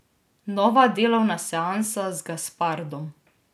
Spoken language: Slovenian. Nova delovna seansa z Gaspardom.